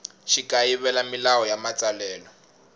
xi kayivela milawu ya matsalelo